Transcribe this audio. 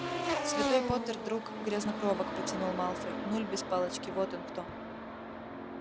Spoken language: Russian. святой поттер друг грязнокровок протянул малфой нуль без палочки вот он кто